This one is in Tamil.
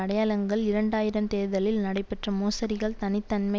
அடையாளங்கள் இரண்டு ஆயிரம் தேர்தலில் நடைபெற்ற மோசடிகள் தனி தன்மை